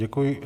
Děkuji.